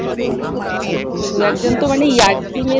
দু একজন তো মানে ইয়ার্কি মেরেই